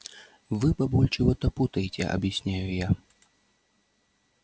вы бабуль чего-то путаете объясняю я